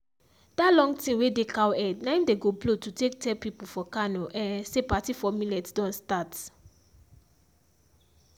dat long thing wey dey cow head na im dey go blow to take tell pipo for kano um say party for millet don start.